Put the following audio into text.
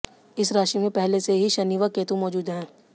इस राशि में पहले से ही शनि व केतु मौजूद हैं